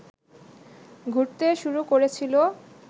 ঘুরতে শুরু করেছিল